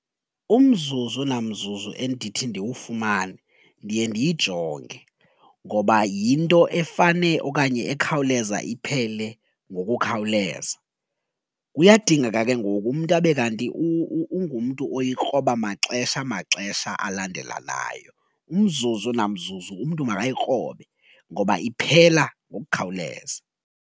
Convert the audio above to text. Umzuzu namzuzu endithi ndiwufumane ndiye ndiyijonge ngoba yinto efane okanye ekhawuleza iphele ngokukhawuleza, kuyadingeka ke ngoku umntu abe kanti ungumntu oyikroba maxesha maxesha alandelanayo umzuzu namzuzu umntu makayikrobe ngoba iphela ngokukhawuleza.